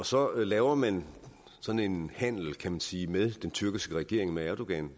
så laver man sådan en handel kan man sige med den tyrkiske regering med erdogan